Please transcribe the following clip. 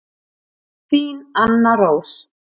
Þín Anna Rós.